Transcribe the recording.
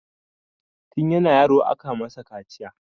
Tin yana yaro aka masa kaciya